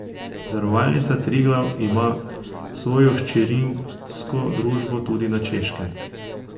Zavarovalnica Triglav ima svojo hčerinsko družbo tudi na Češkem.